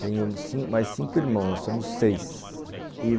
Tenho mais cinco irmãos, nós somos seis.